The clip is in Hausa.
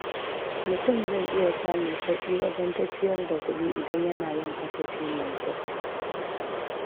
Mutum zai iya samun sauƙi wajen tafiyar da kuɗi idan yana yin kasafi mai kyau.